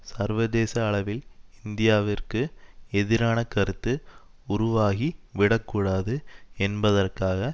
சர்வதேச அளவில் இந்தியாவிற்கு எதிரான கருத்து உருவாகிவிடக்கூடாது என்பதற்காக